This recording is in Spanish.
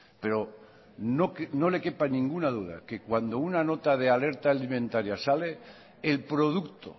pero no le quepa ninguna duda que cuando una nota de alerta alimentaria sale el producto